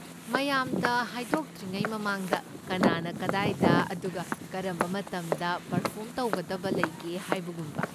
ꯃꯌꯥꯝꯗ ꯍꯥꯏꯗꯣꯛꯇ꯭ꯔꯤꯉꯩ ꯃꯃꯥꯡꯗ ꯀꯅꯥꯅ ꯀꯗꯥꯏꯗ ꯑꯗꯨꯒ ꯀꯔꯝꯕ ꯃꯇꯝꯗ ꯄꯔꯐꯣꯔꯝ ꯇꯧꯒꯗꯕ ꯂꯩꯒꯦ ꯍꯥꯏꯕꯒꯨꯝꯕ꯫